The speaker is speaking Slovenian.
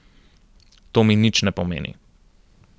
To mi nič ne pomeni.